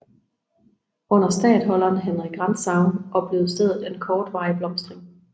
Under statholderen Henrik Rantzau oplevede stedet en kortvarig blomstring